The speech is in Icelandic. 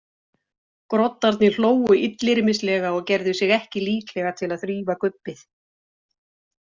Groddarnir hlógu illyrmislega og gerðu sig ekki líklega til að þrífa gubbið.